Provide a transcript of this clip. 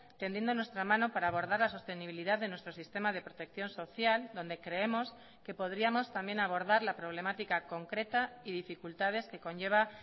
tendiendo nuestra mano para abordar la sostenibilidad de nuestro sistema de protección social donde creemos que podríamos también abordar la problemática concreta y dificultades que conlleva